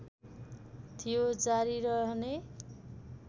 थियो जारी रहने